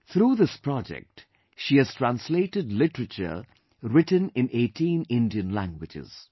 Through this project she has translated literature written in 18 Indian languages